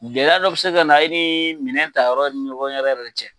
Gɛlɛya dɔ bɛ se ka na e ni minɛn ta yɔrɔ ni ɲɔgɔn cɛ